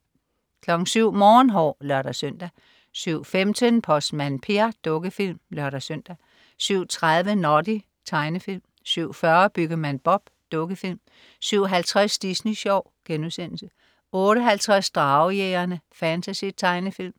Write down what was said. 07.00 Morgenhår (lør-søn) 07.15 Postmand Per. Dukkefilm (lør-søn) 07.30 Noddy. Tegnefilm 07.40 Byggemand Bob. Dukkefilm 07.50 Disney Sjov* 08.50 Dragejægerne. Fantasy-tegnefilm